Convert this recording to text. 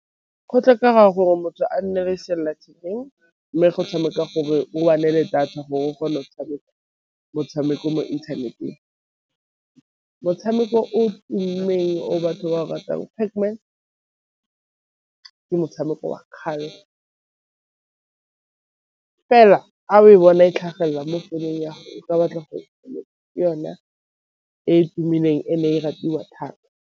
Go tlhokega gore motho a nne le sellathekeng, mme go tshameka gore o le data gore go motshameko motshameko mo inthaneteng. Motshameko o o tumileng o batho ba ratang Pac-Man ke motshameko wa kgale, fela a o e bona e tlhagelela mo founung ya gago o ka ya ke batla ke yona e e tumileng e ne e ratiwa thata.